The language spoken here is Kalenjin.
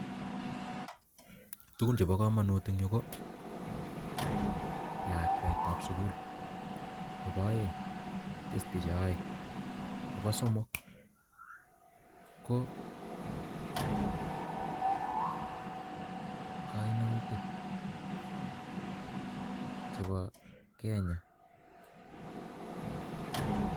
Tugun chepo kamanut Eng Yu ko lakwet ap.sugul Nepo somok KO kainutik chepo (Kenya)